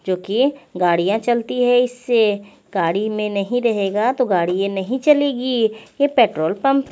जोकि गाडिया चलती है इसे गाडी में नही रहेगा तो गाडीया नही चलेगी ये पट्रोल पम्प --